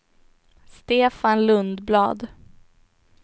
Stefan Lundblad